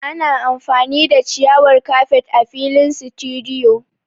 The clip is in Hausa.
Ana amfani da ciyawar kafet a filin situdiyu